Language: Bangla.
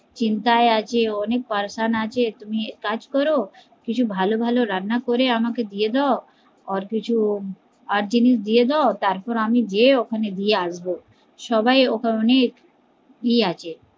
চিন্তায় আছে ও অনেক আছে, তুমি এক কাজ করো কিছু ভালো ভালো রান্না করে আমাকে দিয়ে দাও ওর কিছু আর জিনিস দিয়ে দাও তারপর আমি গিয়ে ওখানে দিয়ে আসবো সবাই ওখানে অনেক ইয়ে আছে